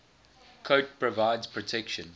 coat provides protection